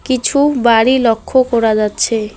কিছু বাড়ি লক্ষ করা যাচ্ছে।